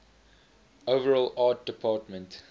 overall art department